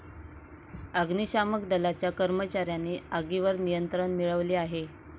अग्निशामक दलाच्या कर्मचाऱ्यांनी आगीवर निंयत्रण मिळवले आहे.